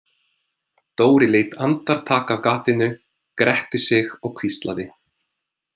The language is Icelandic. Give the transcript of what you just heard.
Dóri leit andartak af gatinu, gretti sig og hvíslaði: